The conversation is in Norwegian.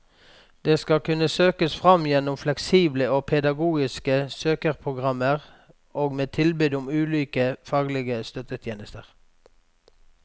De skal kunne søkes fram gjennom fleksible og pedagogiske søkeprogrammer og med tilbud om ulike faglige støttetjenester.